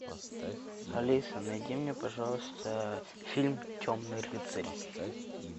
алиса найди мне пожалуйста фильм темный рыцарь